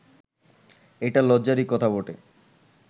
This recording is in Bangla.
এটা লজ্জারই কথা বটে